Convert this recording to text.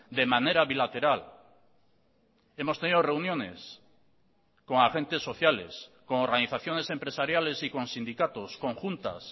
de manera bilateral hemos tenido reuniones con agentes sociales con organizaciones empresariales y con sindicatos conjuntas